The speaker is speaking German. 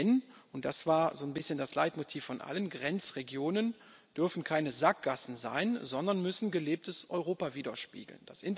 Denn und das war so ein bisschen das Leitmotiv von allen Grenzregionen dürfen keine Sackgassen sein, sondern müssen gelebtes Europa widerspiegeln.